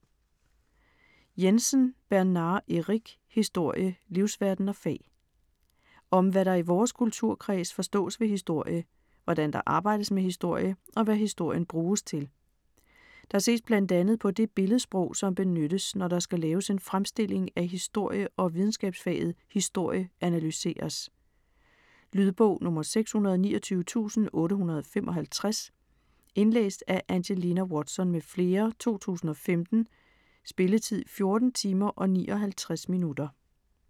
Jensen, Bernard Eric: Historie - livsverden og fag Om hvad der i vores kulturkreds forstås ved historie, hvordan der arbejdes med historie, og hvad historien bruges til. Der ses bl.a. på det billedsprog, som benyttes når der skal laves en fremstilling af historie og videnskabsfaget "historie" analyseres. Lydbog 629855 Indlæst af Angelina Watson m.fl., 2015. Spilletid: 14 timer, 59 minutter.